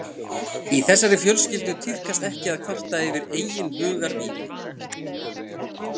Í þessari fjölskyldu tíðkast ekki að kvarta yfir eigin hugarvíli.